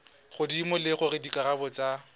godimo le gore dikarabo tsa